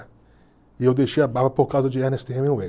E eu deixei a barba por causa de Ernest Hemingway.